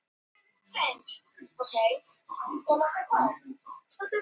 Úrkomuvatnið hefur sigið niður í gropinn berggrunninn, svipað og nú gerist á hraunasvæðum.